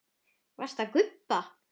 Varstu að gubba?